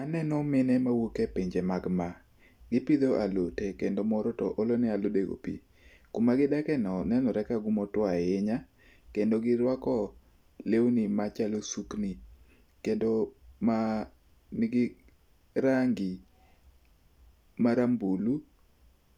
Aneno mine mawuok e pinje mag Maa, gipidho alote kendo moro to olone alodego pi. Kuma gidakeno nenore ka kumotuo ahinya, kendo girwako lewni machalo sukni. Kendo ma nigi rangi marambulu